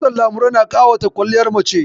Kitson lamurɗe na ƙawata kwaliyar mace